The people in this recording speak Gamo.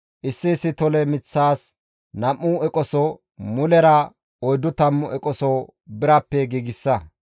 issi issi tole miththas nam7u eqoso, mulera oyddu tammu eqoso birappe giigsa.